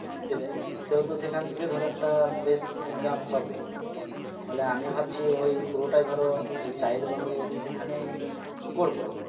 দেবে সেহেতু সেখান থেকে ধরো একটা বেশ income হবে তাহলে আমি ভাবছি ওই পুরোটাই ধরো যা~ যাই দোকান করবো ভাবছি সেখানে করবো